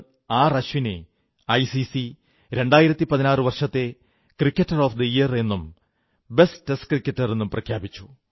അശ്വിനെ ഐസിസി 2016 വർഷത്തെ cricketer of the year എന്നും ബെസ്റ്റ് ടെസ്റ്റ് ക്രിക്കറ്റർ എന്നും പ്രഖ്യാപിച്ചു